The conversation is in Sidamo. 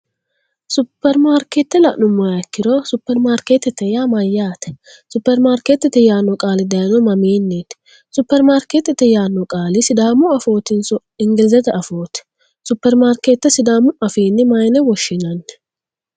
supermaarkeette la'nummoyaakkiro supermaarkeetete ya mayyaate supermaarkeeteti yaanno qaali dayino mamiinniiti supermaarkeetiti yaanno qaali sidaammo afootiinso ingilizete afoote supermaarkeette sidaamu afiinni mayine woshshinanni